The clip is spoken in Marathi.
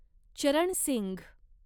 चरण सिंघ